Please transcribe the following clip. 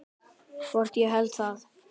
Hvort ég héldi það?